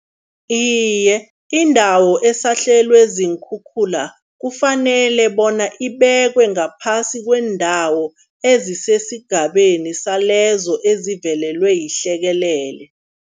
Iye, indawo esahlelwe ziinkhukhula kufanele bona ibekwe ngaphasi kweendawo ezisesigabeni salezo ezivelelwe yihlekelele.